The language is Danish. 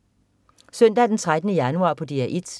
Søndag den 13. januar - DR 1: